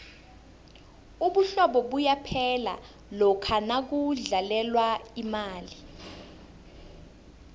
ubuhlobo buyaphela lokha nakudlalelwa imali